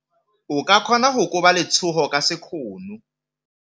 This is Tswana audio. O ka kgona go koba letsogo ka sekgono.